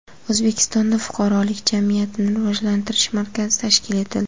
O‘zbekistonda Fuqarolik jamiyatini rivojlantirish markazi tashkil etildi.